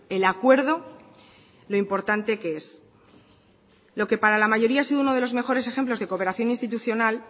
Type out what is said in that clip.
el acuerdo lo importante que es lo que para la mayoría ha sido uno de los mejores ejemplos de cooperación institucional